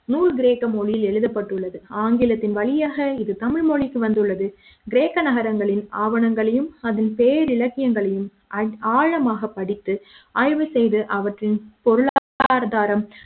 நுறு கிரேக்க மொழியில் எழுதப்பட்டுள்ளது ஆங்கிலத்தின் வழியாக இது தமிழ்மொழிக்கு வந்துள்ளது கிரேக்க நகரங்களின் ஆவணங்களையும் அதன் பேரில் இலக்கியங்களையும் ஆழமாகப் படித்து ஆய்வு செய்து அவற்றின் பொருளாதாரம்